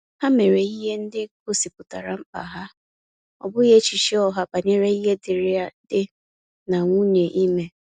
Ha mere ihe ndị gosipụtara mkpa ha, ọ bụghị echiche ọha banyere ihe dịri dị na nwunye ime